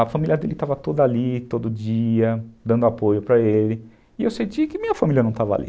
A família dele estava toda ali, todo dia, dando apoio para ele e eu senti que minha família não estava ali.